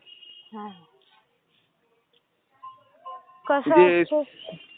हा, कसं असतं...